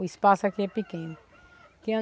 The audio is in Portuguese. O espaço aqui é pequeno. Que